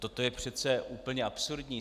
Toto je přece úplně absurdní.